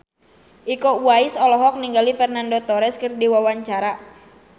Iko Uwais olohok ningali Fernando Torres keur diwawancara